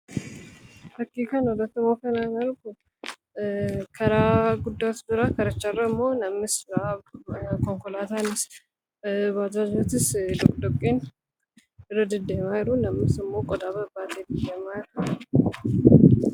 Fakkii kana irratti wanti ani argu karaa guddaa jira. Karicha irra ammoo namnis, konkolaataanis baajaajotis doqdoqqeen irra deddeemaa jiru. Namnis ammoo qodaa babbaatee irra deemaa jira.